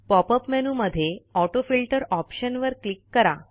pop up मेनूमध्ये auto filter option वर click करा